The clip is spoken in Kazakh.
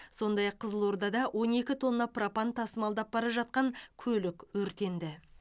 сондай ақ қызылордада он екі тонна пропан тасымалдап бара жатқан көлік өртенді